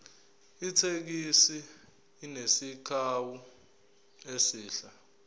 ithekisi inesakhiwo esihle